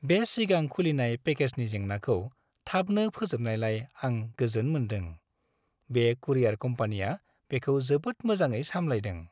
बे सिगां खुलिनाय पेकेजनि जेंनाखौ थाबनो फोजोबनायलाय आं गोजोन मोनदों। बे कुरियार कम्पानिया बेखौ जोबोद मोजाङै साम्लायदों।